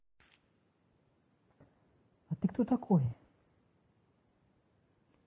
а ты кто такой